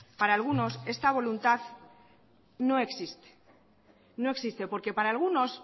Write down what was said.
para algunos esta voluntad no existe no existe porque para algunos